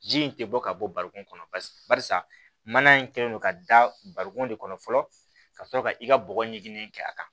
Ji in tɛ bɔ ka bɔ barikon kɔnɔ paseke barisa mana in kɛlen don ka da barikon de kɔnɔ fɔlɔ ka sɔrɔ ka i ka bɔgɔ ɲiginnen kɛ a kan